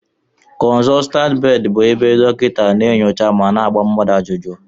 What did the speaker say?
Konsotant bedi bụ ebe dokita a na-enyocha ma gbaa mmadụ ajụjụ